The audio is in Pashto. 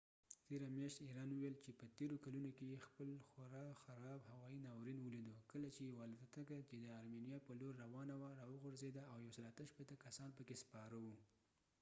تیره میاشت ایران وويل چي په تيرو کلونو کې يې خپل خورا خراب هوایی ناورین ولیدو کله چي يوه الوتکه چي د ارمينيا په لور روانه وه راوغورځېده او 168 کسان پکي سپاره و